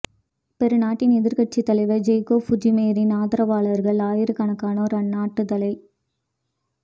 பெரு நாட்டின் எதிரக்கட்சித் தலைவர் கெய்கோ ஃபுஜிமோரியின் ஆதரவாளர்கள் ஆயிரக்கணக்கானோர் அந்நாட்டுத் தலை